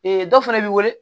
dɔ fana bɛ weele